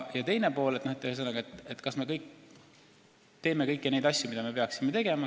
Teine pool on, kas me teeme kõiki neid asju, mida me peaksime tegema.